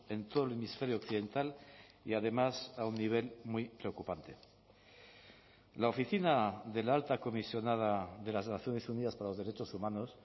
en todo el hemisferio occidental y además a un nivel muy preocupante la oficina de la alta comisionada de las naciones unidas para los derechos humanos